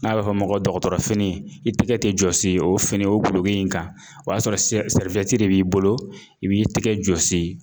N'a bɛ f'ɔ ma ko dɔkɔtɔrɔfini i tɛgɛ tɛ jɔsi o fini o dulogi in kan, o y'a sɔrɔ de b'i bolo i b'i tɛgɛ jɔsi